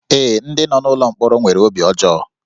Ee, ndị nọ n'ụlọ mkpọrọ nwere obi ọjọọ